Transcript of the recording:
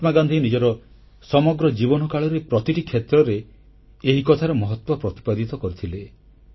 ମହାତ୍ମାଗାନ୍ଧୀ ନିଜର ସମଗ୍ର ଜୀବନକାଳରେ ପ୍ରତିଟି କ୍ଷେତ୍ରରେ ଏହି କଥାର ମହତ୍ୱ ପ୍ରତିପାଦିତ କରିଥିଲେ